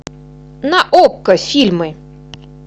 на окко фильмы